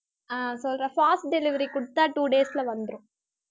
அஹ் சொல்றேன் fast delivery கொடுத்தா two days ல வந்துரும்